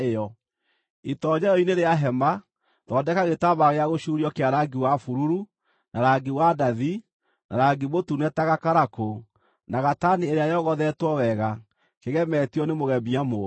“Itoonyero-inĩ rĩa hema, thondeka gĩtambaya gĩa gũcuurio kĩa rangi wa bururu, na rangi wa ndathi, na rangi mũtune ta gakarakũ, na gatani ĩrĩa yogothetwo wega, kĩgemetio nĩ mũgemia mũũgĩ.